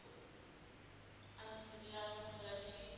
আলহমদুলিল্লাহ আমিও ভালো আছি।